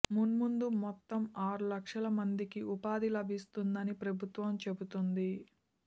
మున్ముందు మొత్తం అరు లక్షల మందికి ఉపాధి లభిస్తుందని ప్రభుత్వం చెబుతోంది